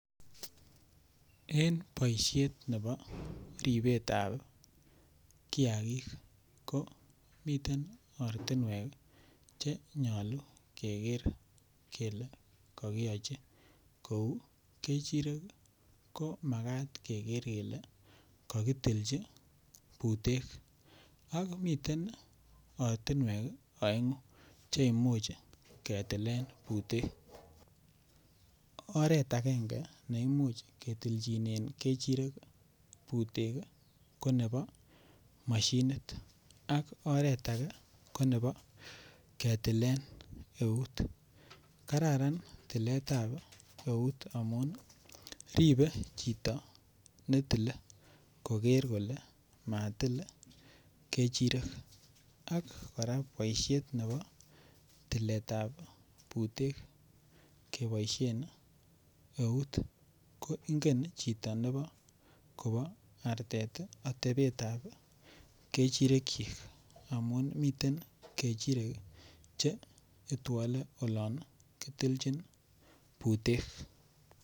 En boishet nebo ribetab kiagik ko miten ortinwek che nyoluu keger kelee kokiyochi kouu ngechirek ii ko makat keger kele kokitilji butek ak miten ortinwek ii oengu che imuch ketilen butek oret angenge neimuch ketilchinen ngechirek butek ko nebo moshinit ak oret age ko nebo ketilen eut kararan tiletab eut amun ii ribe chito netile koger kole matil ngechirek ak koraa boishet nebo tiletab butet keboishen eut ko ingen chito nebo kobo artet atebetab ngechirekyik amun miten ngechirek che itwole olon kitilchin butek